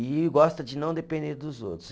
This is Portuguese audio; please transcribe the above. E gosta de não depender dos outros.